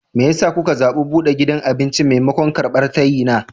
Me ya sa ka zaɓi buɗe gidan abinci maimakon karɓar tayina?